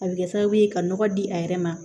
A bɛ kɛ sababu ye ka nɔgɔ di a yɛrɛ ma